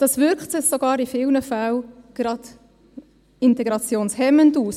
Das wirkt sich in vielen Fällen sogar gerade integrationshemmend aus.